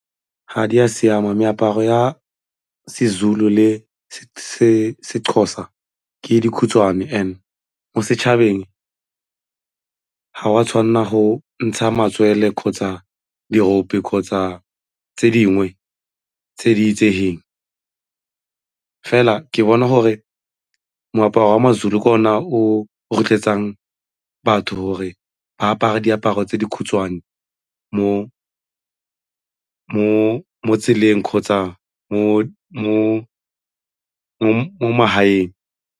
Ga di a siama, meaparo ya seZulu le seXhosa ke dikhutshwane and mo setšhabeng ga o a tshwanela go ntsha matswele kgotsa dirope kgotsa tse dingwe tse di itsegeng fela ke bona gore moaparo wa ma-Zulu ka ona o rotloetsang batho gore ba apare diaparo tse di khutshwane mo tseleng kgotsa mo magaeng.